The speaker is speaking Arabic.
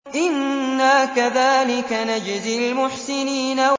إِنَّا كَذَٰلِكَ نَجْزِي الْمُحْسِنِينَ